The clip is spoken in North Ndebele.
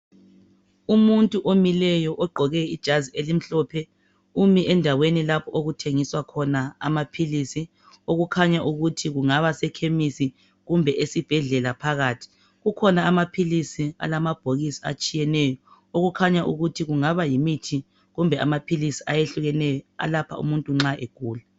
Umuntu omileyo ogqoke ijazi elimhlophe umi lapho okuthengiswa khona amaphilizi okukhanya ukuthi kungaba sekhenisi kumbe esibhedlela phakathi kukhona amaphilizi alamabhokisi atshiyeneyo okukhanya ukuthi kungaba yimithi kumbe amaphilisi ayehlukeneyo alapha umuntu nxa egula